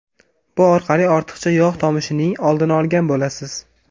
Bu orqali ortiqcha yog‘ tomishining oldini olgan bo‘lasiz.